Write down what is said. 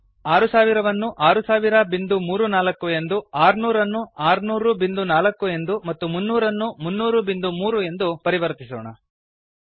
ನಾವು 6000 ಅನ್ನು 600034 ಎಂದು 600 ಅನ್ನು 6004 ಎಂದು ಮತ್ತು 300 ಅನ್ನು 3003 ಎಂದು ಪರಿವರ್ತಿಸೋಣ